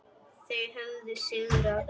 Þau höfðu sigrað.